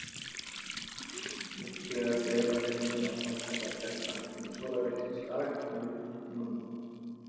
Líklegast er að þeir mundu áfram kalla bjartan tíma sólarhringsins dag en myrkurtímann nótt.